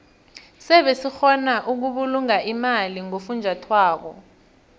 sebe sikgona ukubulunga imali ngofunjathwako